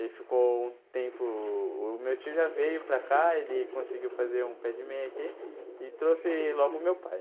Ele ficou um tempo... o meu tio já veio para cá, ele conseguiu fazer um pé de meia aqui e trouxe logo o meu pai.